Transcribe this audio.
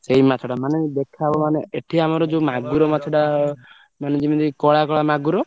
ସେଇ ମାଛଟା ମାନେ ଦେଖାହବ ମାନେ ଏଠି ଆମର ଯୋଉ ମାଗୁର ମାଛଟା ମାନେ ଯେମିତି କଳା କଳା ମାଗୁର?